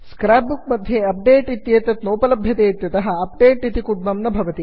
scrap book मध्ये update इत्येतत् नोपलभ्यते इत्यतः अपडेट इति कुड्मं न भवति